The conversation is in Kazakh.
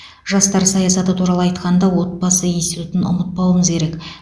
жастар саясаты туралы айтқанда отбасы институтын ұмытпауымыз керек